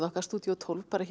okkar stúdíó tólf